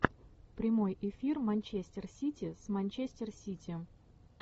прямой эфир манчестер сити с манчестер сити